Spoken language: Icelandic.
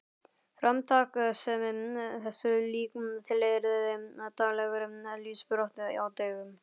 Framtakssemi þessu lík tilheyrði daglegri lífsbaráttu á dögum